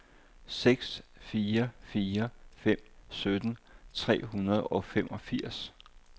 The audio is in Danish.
seks fire fire fem sytten tre hundrede og femogfirs